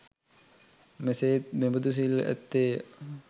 මෙසේ ත් මෙබඳු සිල් ඇත්තේ ය.